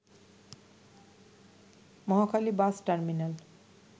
Mohakhali bus terminal